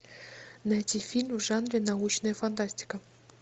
найти фильм в жанре научная фантастика